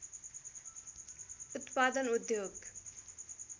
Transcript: उत्पादन उद्योग